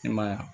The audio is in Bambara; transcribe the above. I ma ye wa